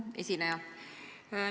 Hea esineja!